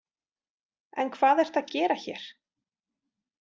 En hvað ertu að gera hér?